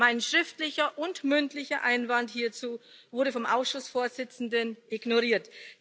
Mein schriftlicher und mündlicher Einwand hierzu wurde vom Ausschussvorsitzenden ignoriert.